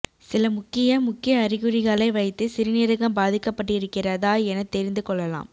சில முக்கிய முக்கிய அறிகுறிகளை வைத்து சிறுநீரகம் பாதிக்கப்பட்டிருக்கிறதா என தெரிந்து கொள்ளலாம்